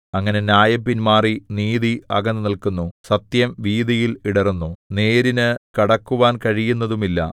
അങ്ങനെ ന്യായം പിന്മാറി നീതി അകന്നുനില്ക്കുന്നു സത്യം വീഥിയിൽ ഇടറുന്നു നേരിനു കടക്കുവാൻ കഴിയുന്നതുമില്ല